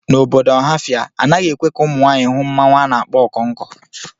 N'obodo Ọhafia, anaghị ekwe ka ụmụ nwanyị hụ mmanwu a na-akpọ Okonko.